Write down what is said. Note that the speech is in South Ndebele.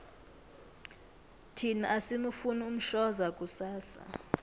thina asimufuni umshoza kusasa